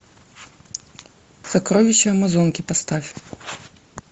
сокровища амазонки поставь